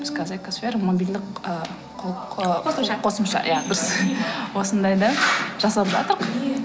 біз қазір экосфера мобильдік ыыы қосымша қосымша иә дұрыс осындай да жасалып